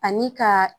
Ani ka